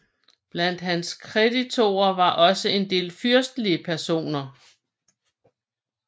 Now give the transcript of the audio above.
Blandt hans kreditorer var også en del fyrstelige personer